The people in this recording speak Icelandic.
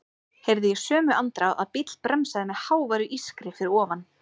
Heyrði í sömu andrá að bíll bremsaði með háværu ískri fyrir ofan.